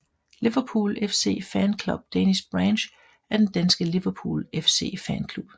Liverpool FC Fan Club Danish Branch er den danske Liverpool FC fanklub